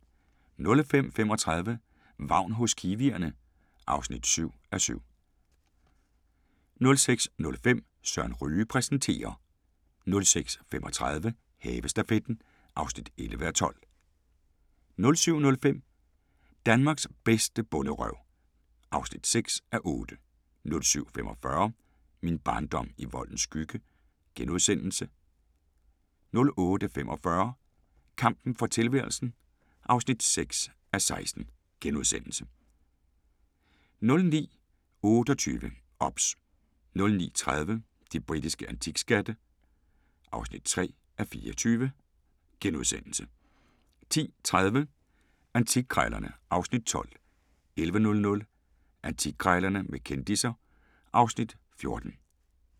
05:35: Vagn hos kiwierne (7:7) 06:05: Søren Ryge præsenterer 06:35: Havestafetten (11:12) 07:05: Danmarks bedste bonderøv (6:8) 07:45: Min barndom i voldens skygge * 08:45: Kampen for tilværelsen (6:16)* 09:28: OBS 09:30: De britiske antikskatte (3:24)* 10:30: Antikkrejlerne (Afs. 12) 11:00: Antikkrejlerne med kendisser (Afs. 14)